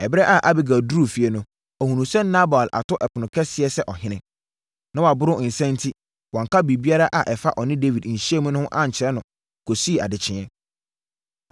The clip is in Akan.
Ɛberɛ a Abigail duruu fie no, ɔhunuu sɛ Nabal ato ɛpono kɛseɛ sɛ ɔhene. Na waboro nsã enti, wanka biribiara a ɛfa ɔne Dawid nhyiamu no ho ankyerɛ no kɔsii adekyeeɛ.